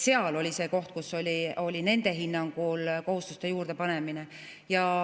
Seal oli see koht, kus oli nende hinnangul kohustuste juurdepanemine.